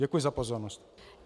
Děkuji za pozornost.